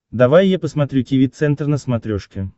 давай я посмотрю тиви центр на смотрешке